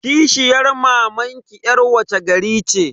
Kishiyar mamanki yar wace gari ce?